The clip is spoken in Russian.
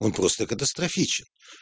он просто катастрофичен